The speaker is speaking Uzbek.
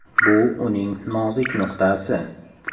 Bu uning nozik nuqtasi.